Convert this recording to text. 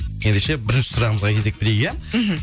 ендеше бірінші сұрағымызға кезек берейік иә мхм